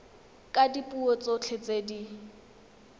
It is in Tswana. ka dipuo tsotlhe tse di